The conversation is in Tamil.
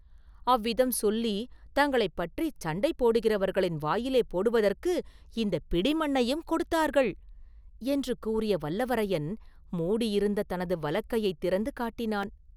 அவ்விதம் சொல்லி, தங்களைப் பற்றிச் சண்டை போடுகிறவர்களின் வாயிலே போடுவதற்கு இந்தப் பிடி மண்ணையும் கொடுத்தார்கள்!” என்று கூறிய வல்லவரையன், மூடியிருந்த தனது வலக்கையைத் திறந்து காட்டினான்.